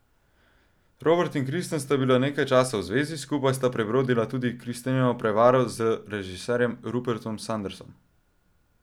Robert in Kristen sta bila nekaj časa v zvezi, skupaj sta prebrodila tudi Kristenino prevaro z režiserjem Rupertom Sandersom.